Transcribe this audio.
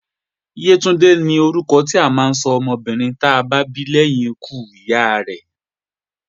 Yétúndé la máa sọ ọmọbìnrin ta bá bí lẹ́yìn ikú ìyá rẹ́